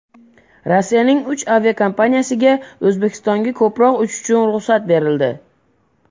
Rossiyaning uch aviakompaniyasiga O‘zbekistonga ko‘proq uchish uchun ruxsat berildi.